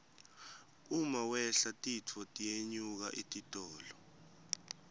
uma wehla titfo tiyenyuka etitolo